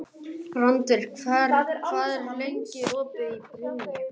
Randver, hvað er lengi opið í Brynju?